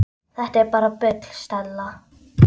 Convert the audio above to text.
Þetta er bara bull, Stella.